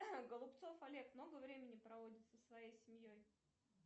голубцов олег много времени проводит со своей семьей